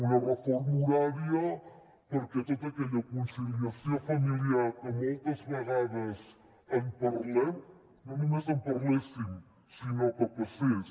una reforma horària perquè tota aquella conciliació familiar que moltes vegades en parlem no només en parléssim sinó que passés